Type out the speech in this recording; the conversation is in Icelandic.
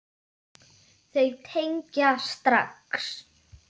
Þau tengja strax.